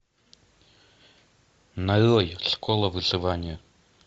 нарой школа выживания